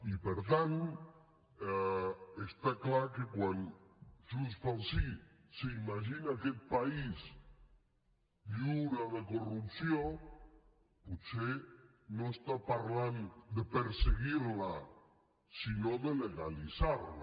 i per tant està clar que quan junts pel sí s’imagina aquest país lliure de corrupció potser no està parlant de perseguir la sinó de legalitzar la